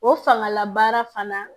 O fangala baara fana